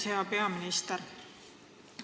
Hea peaminister!